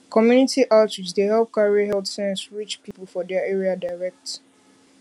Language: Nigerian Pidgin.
community outreach dey help carry health sense reach people for their area direct